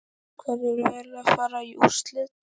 Hverjir fara í úrslit?